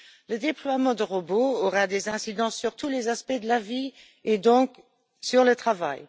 Le déploiement de robots aura des incidences sur tous les aspects de la vie et donc sur le travail.